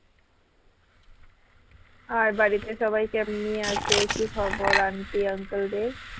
আর বাড়িতে সবাই কেমনি আছে কি খবর aunty uncle দেড়?